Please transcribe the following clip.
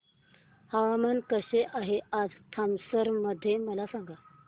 हवामान कसे आहे आज हाथरस मध्ये मला सांगा